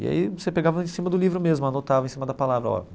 E aí, você pegava em cima do livro mesmo, anotava em cima da palavra ó.